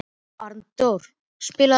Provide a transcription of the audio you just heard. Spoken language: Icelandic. Arndór, spilaðu lag.